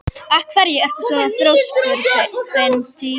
Af hverju ertu svona þrjóskur, Bentey?